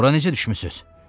Bura necə düşmüsüz?